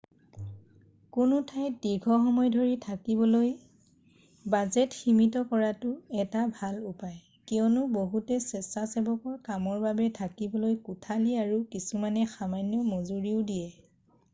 কোনো ঠাইত দীৰ্ঘসময় ধৰি থাকিবলৈ বাজেট সীমিত কৰাটো এটা ভাল উপায় কিয়নো বহুতে স্বেচ্ছাসেৱকৰ কামৰ বাবে থাকিবলৈ কোঠালি আৰু কিছুমানে সামান্য মজুৰিও দিয়ে